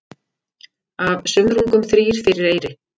Af sumrungum þrír fyrir eyri.